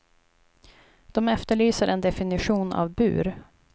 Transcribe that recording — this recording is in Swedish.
De efterlyser en definition av bur.